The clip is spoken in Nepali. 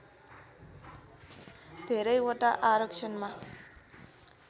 धेरै वटा आरक्षणमा